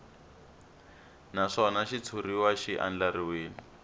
naswona xitshuriwa xi andlariwile hi